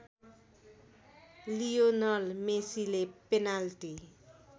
Lionel मेसीले penalty